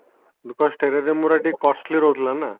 because Terrarium ଗୁଡା ଟିକେ costly ରହୁଥିଲା ନାଁ